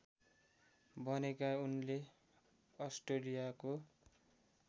बनेका उनले अस्ट्रेलियाको